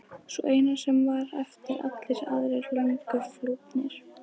Sú eina sem hér var eftir, allir aðrir löngu flúnir.